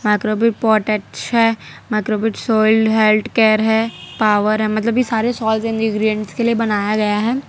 Microbic pot है microbic soiled health care है power है मतलब ये सारे सॉएल इंग्रेडिएंट्स के लिए बनाया गया है।